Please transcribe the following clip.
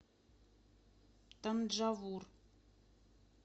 танджавур